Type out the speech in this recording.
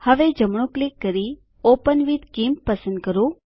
હવે જમણું ક્લિક કરી ઓપન વિથ ગિમ્પ પસંદ કરો